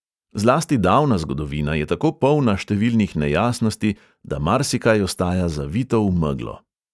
Zlasti davna zgodovina je tako polna številnih nejasnosti, da marsikaj ostaja zavito v meglo.